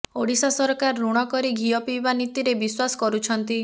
ଓଡ଼ିଶା ସରକାର ଋଣ କରି ଘିଅ ପିଇବା ନୀତିରେ ବିଶ୍ୱାସ କରୁଛନ୍ତି